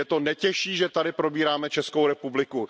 Mě to netěší, že tady probíráme Českou republiku.